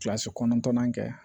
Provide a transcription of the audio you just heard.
Kilasi kɔnɔntɔnnan kɛ